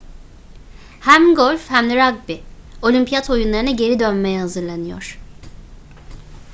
hem golf hem de ragbi olimpiyat oyunlarına geri dönmeye hazırlanıyor